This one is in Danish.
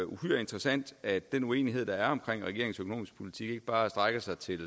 uhyre interessant at den uenighed der er omkring regeringens økonomiske politik ikke bare strækker sig til